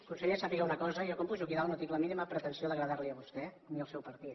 conseller sàpiga una cosa jo quan pujo aquí dalt no tinc la mínima pretensió d’agradar los a vostè ni al seu partit